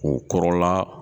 K'o kɔrɔla